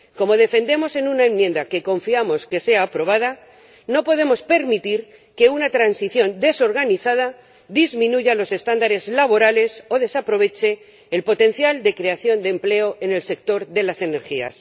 Como defendemos en una enmienda, que confiamos que sea aprobada, no podemos permitir que una transición desorganizada disminuya los estándares laborales o desaproveche el potencial de creación de empleo en el sector de las energías.